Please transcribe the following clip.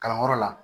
Kalanyɔrɔ la